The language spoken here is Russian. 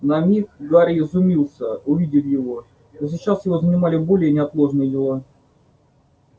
на миг гарри изумился увидев его но сейчас его занимали более неотложные дела